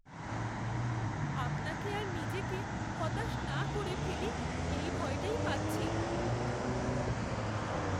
আপনাকে আর নিজেকে হতাশ না করে ফেলি এই ভয়টাই পাচ্ছি।